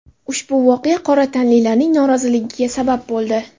Ushbu voqea qora tanlilarning noroziligiga sabab bo‘ldi.